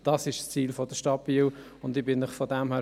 Dies ist das Ziel der Stadt Biel.